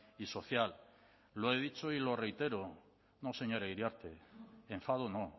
y social lo he dicho y lo reitero no señora iriarte enfado no